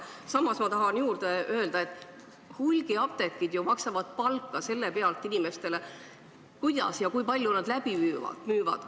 Samas ma tahan juurde öelda, et hulgimüüjad ju maksavad palka inimestele selle pealt, kuidas ja kui palju nad läbi müüvad.